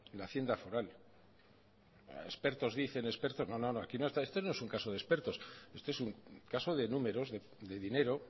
la haciendo foral expertos dicen expertos no esto no es un caso de expertos este es un caso de números de dinero